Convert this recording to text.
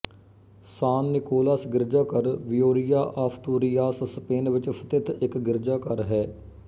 ਸਾਨ Nicolas ਗਿਰਜਾਘਰ Villoria Asturias Spain ਵਿੱਚ ਸਥਿਤ ਇੱਕ ਗਿਰਜਾਘਰ ਹੈ